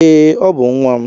Ee, Ọ bú nwa m